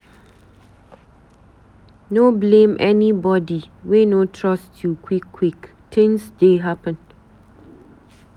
No blame anybodi wey no trust you quick-quick, tins dey happen.